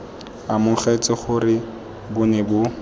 amogetse gore bo ne bo